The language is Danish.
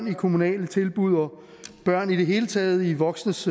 i kommunale tilbud og børn i det hele taget i voksnes